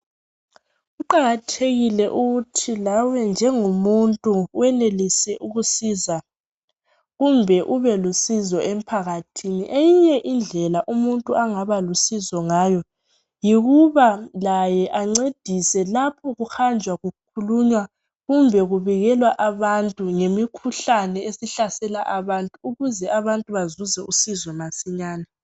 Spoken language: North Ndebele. Kuqakathekile ukuthi lawe njengomuntu wenelise ukusiza kumbe ube lusizo emphakathini. Eyinye indlela umuntu angaba lusizo ngayo yikuba laye ancedise lapho kuhanjwa kukhulunywa kumbe kubikelwa abantu ngemikhuhlane esihlasela abantu ukuze abantu bazuze usizo masinyane